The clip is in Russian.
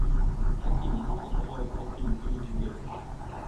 афина можно пожалуйста фильм великий гэтсби